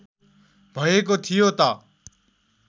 भएको थियो त